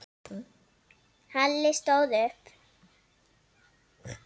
Halli stóð upp.